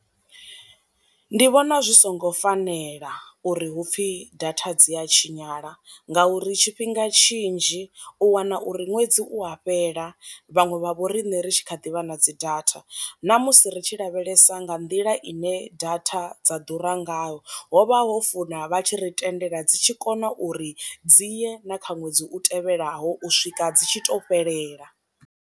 Ndi vhona zwi songo fanela uri hupfi data dzi a tshinyala nga uri tshifhinga tshinzhi u wana uri ṅwedzi u a fhela vhaṅwe vha vho rine ri tshi kha ḓi vha na dzi data, na musi ri tshi lavhelesa nga nḓila ine data dza ḓura ngayo hovha ho funa vha tshi ri tendela dzi tshi kona uri dzi ye na kha ṅwedzi u tevhelaho u swika dzi tshi to fhelela.